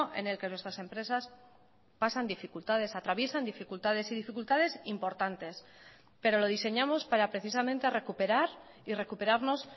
en el que nuestras empresas pasan dificultades atraviesan dificultades y dificultades importantes pero lo diseñamos para precisamente recuperar y recuperarnos